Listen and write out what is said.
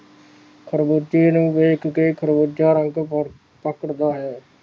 ਖ਼ਰਬੂਜੇ ਨੂੰ ਵੇਖ ਕੇ ਖਰਬੂਜ਼ਾ ਰੰਗ ਪਕੜਦਾ ਹੈ